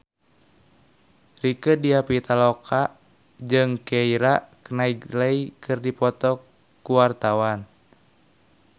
Rieke Diah Pitaloka jeung Keira Knightley keur dipoto ku wartawan